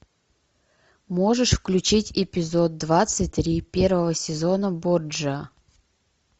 можешь включить эпизод двадцать три первого сезона борджиа